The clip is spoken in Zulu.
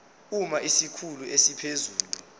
uma isikhulu esiphezulu